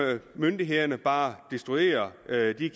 myndighederne bare destruere